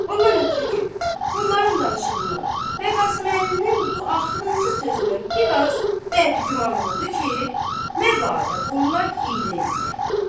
Ondan ötrü ki, bunların danışığından və Qasıməlinin bu axırıncı sözündən bir az bədgüman oldu ki, məbadə bunlar hiylə eləyər.